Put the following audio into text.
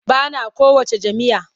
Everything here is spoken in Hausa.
Ba na kowacce jam'iyya.